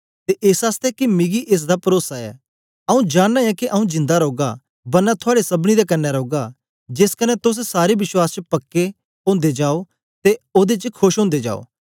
ते एस आसतै के मिकी एस दा परोसा ऐ आऊँ जानना ऐ के आऊँ जिंदा रौगा बरना थुआड़े सबनी दे कन्ने रौगा जेस कन्ने तोस सारे विश्वास च पक्के ओदे जाओ ते ओदे च खोश ओदे जाओ